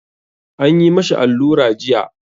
An yi ma shi allura jiya.